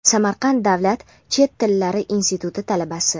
Samarqand davlat chet tillar instituti talabasi:.